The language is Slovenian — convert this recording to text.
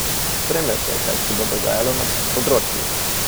Spremljajte kaj se bo dogajalo na tem področju!